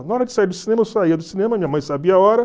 Na hora de sair do cinema, eu saía do cinema, minha mãe sabia a hora.